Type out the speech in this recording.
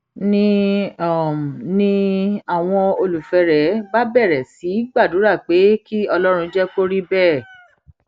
ni ni àwọn olólùfẹ rẹ bá bẹrẹ sí í gbàdúrà pé kí ọlọrun jẹ kó rí bẹẹ